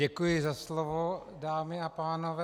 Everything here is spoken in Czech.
Děkuji za slovo, dámy a pánové.